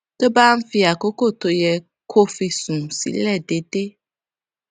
tó bá ń fi àkókò tó yẹ kó fi sùn sílè déédéé